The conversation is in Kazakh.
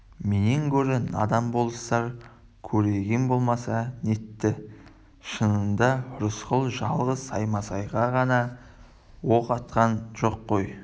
менен гөрі надан болыстар көреген болмаса нетті шынында рысқұл жалғыз саймасайға ғана оқ атқан жоқ қой